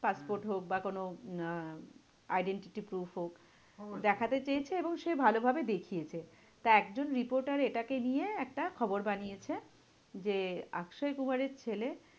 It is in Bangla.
Passport হোক বা কোনো আহ identity proof হোক, দেখাতে চেয়েছে এবং সে ভালোভাবে দেখিয়েছে। তা একজন reporter এটাকে নিয়ে একটা খবর বানিয়েছে যে, অক্ষয় কুমারের ছেলে